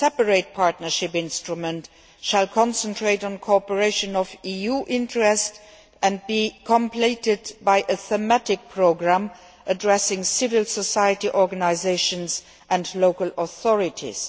a separate partnership instrument will concentrate on cooperation of EU interest and will be complemented by a thematic programme addressing civil society organisations and local authorities.